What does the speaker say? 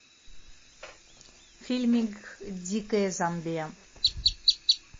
фильмик дикая замбия